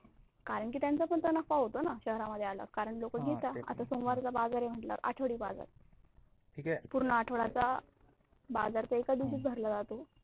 कारण त्यांचा पण त नफा होतो ना शहरा मध्ये आल्यावर कारण लोक घेतात आता सोमवारचा बाजार आहे मटल्यावर आठवडी बाजार पूर्ण आठवड्याचा बाजार तर एका दिवशीच भरला जातो.